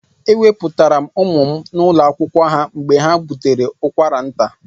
Eweputara m ụmụ m n'ụlọ akwụkwọ ha mgbe ha bụtere ụkwara nta.